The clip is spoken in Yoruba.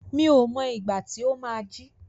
Mi ò mọ ìgbà tí ó má á jí.